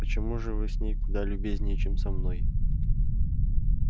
почему же вы с ней куда любезнее чем со мной